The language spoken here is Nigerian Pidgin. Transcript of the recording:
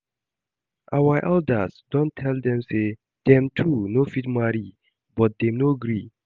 Our elders don tell dem say dem two no fit marry but dem no gree